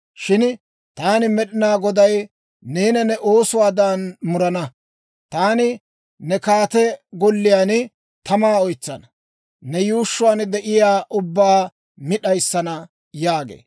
shin taani Med'inaa Goday neena ne oosuwaadan murana. Taani ne kaate golliyaan tamaa oytsana; ne yuushshuwaan de'iyaawaa ubbaa mi d'ayissana» yaagee.